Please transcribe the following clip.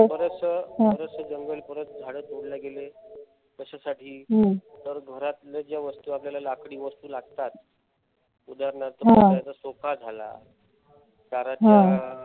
बरचस बरंच जंगल झाडे तोडल्या गेले. कशासाठी तर घरातल्या ज्या वस्तू आपल्याला लाकडी वस्तू लागतात. उदाहरणार्थ सोफा झाला, दाराच्या